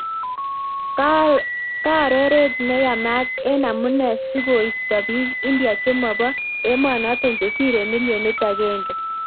Kaaroret nee yamaat eng amunee sikoistaa piik India chemopoo emonotok chesiree milionit agenge